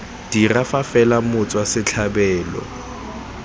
dirwa fa fela motswa setlhabelo